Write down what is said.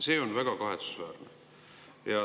See on väga kahetsusväärne.